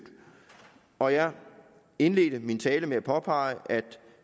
og jeg indledte min tale med at påpege at